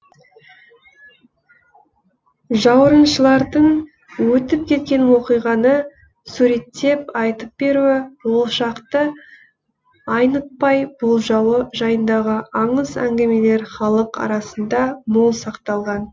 жауырыншылардың өтіп кеткен оқиғаны суреттеп айтып беруі болашақты айнытпай болжауы жайындағы аңыз әңгімелер халық арасында мол сақталған